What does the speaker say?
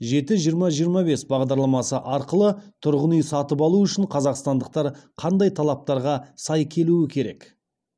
жеті жиырма жиырма бес бағдарламасы арқылы тұрғын үй сатып алу үшін қазақстандықтар қандай талаптарға сай келуі керек